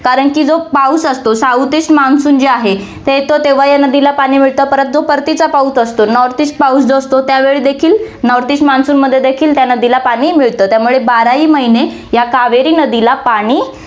कारण की जो पाऊस असतो, south east मान्सून जे आहे, ते तर तेव्हा या नदीला पाणी मिळतं, परत जो परतीचा पाऊस असतो north east पाऊस जो असतो, त्यावेळी देखील north east मान्सूनमध्ये देखी त्या नदीला पाणी मिळतं. त्यामुळे बाराही महीने या कावेरी नदीला पाणी